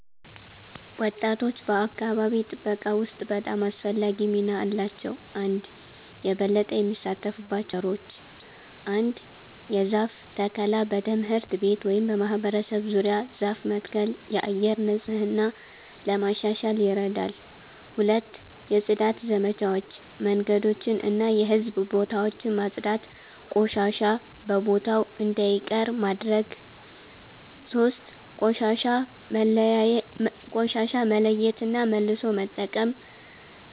ወጣቶች በአካባቢ ጥበቃ ውስጥ በጣም አስፈላጊ ሚና አላቸው። 1)የበለጠ የሚሳተፉባቸው ነገሮች ? 1. የዛፍ ተከላ በትምህርት ቤት ወይም በማህበረሰብ ዙሪያ ዛፍ መትከል የአየር ንጽህና ለማሻሻል ይረዳል 2. የጽዳት ዘመቻዎች መንገዶችን እና የህዝብ ቦታዎችን ማጽዳት ቆሻሻ በቦታው እንዳይቀር ማድረግ ማድረግ 3. ቆሻሻ መለያየት እና መልሶ መጠቀም